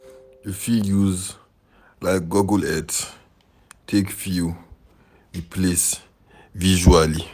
You fit use like google earth take view di place visually